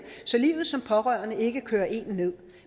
så livet som pårørende ikke kører en ned